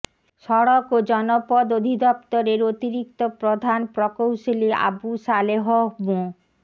সড়ক ও জনপথ অধিদপ্তরের অতিরিক্ত প্রধান প্রকৌশলী আবু সালেহ মো